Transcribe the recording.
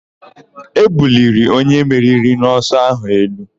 E buliri onye meriri n'ọsọ áhụ̀ elu.